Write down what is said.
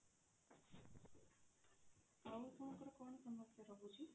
ଆଉ ଆପଣନଙ୍କର କଣ ସମସ୍ୟା ରହୁଛି?